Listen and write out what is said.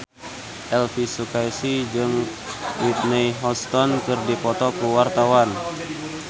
Elvi Sukaesih jeung Whitney Houston keur dipoto ku wartawan